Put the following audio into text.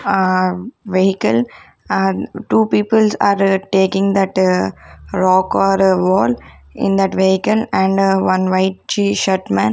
uh vehicle and two peoples are taking that uh rock or wall in that vehicle and one white t-shirt man --